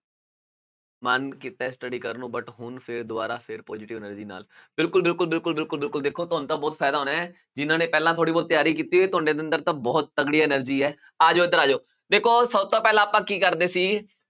ਮਨ ਕੀਤਾ ਹੈ study ਕਰ ਨੂੰ but ਹੁਣ ਫਿਰ ਦੁਬਾਰਾ ਫਿਰ positive energy ਨਾਲ, ਬਿਲਕੁਲ-ਬਿਲਕੁਲ, ਬਿਲਕੁਲ-ਬਿਲਕੁਲ, ਬਿਲਕੁਲ ਦੇਖੋ ਤੁਹਾਨੂੰ ਤਾਂ ਬਹੁਤ ਫ਼ਾਇਦਾ ਹੋਣਾ ਹੈ ਜਿਹਨਾਂ ਨੇ ਪਹਿਲਾਂ ਥੋੜ੍ਹੀ ਬਹੁਤ ਤਿਆਰੀ ਕੀਤੀ ਹੋਈ ਤੁਹਾਡੇ ਅੰਦਰ ਤਾਂ ਬਹੁਤ ਤਕੜੀ energy ਹੈ, ਆ ਜਾਓ ਇੱਧਰ ਆ ਜਾਓ, ਦੇਖੋ ਸਭ ਤੋਂ ਪਹਿਲਾਂ ਆਪਾਂ ਕੀ ਕਰਦੇ ਸੀ